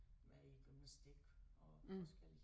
Med i gymnastik og forskelligt